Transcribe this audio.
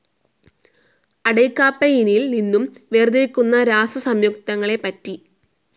അടയ്ക്കാപ്പയിനിൽ നിന്നും വേർതിരിക്കുന്ന രാസസയുക്തങ്ങളെപ്പറ്റി.